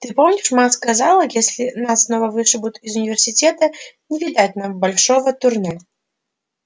ты помнишь ма сказала если нас снова вышибут из университета не видать нам большого турне